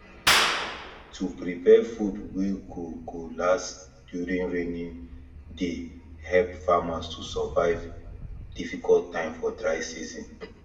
to prepare food wey go go last during raining dey help farmers to survive difficult time for dry season